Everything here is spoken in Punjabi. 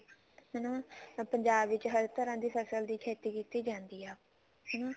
ਹਨਾ ਪੰਜਾਬ ਵਿੱਚ ਹਰ ਤਰ੍ਹਾਂ ਦੀ ਫਸਲ ਦੀ ਖੇਤੀ ਜਾਂਦੀ ਆ ਹਨਾ